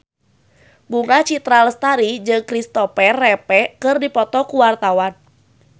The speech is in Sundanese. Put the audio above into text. Bunga Citra Lestari jeung Kristopher Reeve keur dipoto ku wartawan